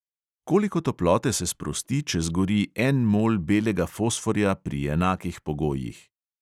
Koliko toplote se sprosti, če zgori en mol belega fosforja pri enakih pogojih?